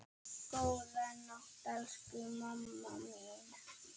Góða nótt, elsku mamma mín.